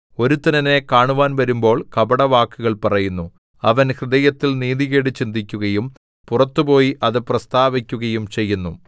ഒരുത്തൻ എന്നെ കാണുവാൻ വരുമ്പോൾ കപടവാക്കുകൾ പറയുന്നു അവൻ ഹൃദയത്തിൽ നീതികേട് ചിന്തിക്കുകയും പുറത്തുപോയി അത് പ്രസ്താവിക്കുകയും ചെയ്യുന്നു